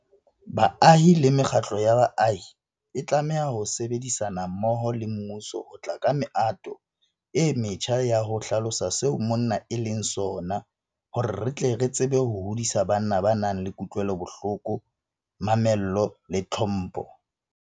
Baahi le mekgatlo ya baahi e tlameha ho sebedisana mmoho le mmuso ho tla ka mehato e metjha ya ho hlalosa seo monna e leng sona hore re tle re tsebe ho hodisa banna ba nang le kutlwelobohloko, mamello le tlhompho.